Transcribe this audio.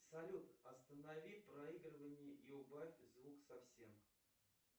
салют останови проигрывание и убавь звук совсем